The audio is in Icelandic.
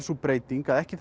sú breyting að ekki